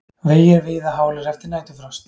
Vegir víða hálir eftir næturfrost